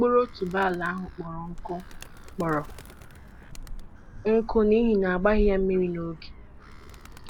Mkpụrụ otuboala ahụ kpọrọ nkụ kpọrọ nkụ n'ihi a gbaghị ya mmiri n'oge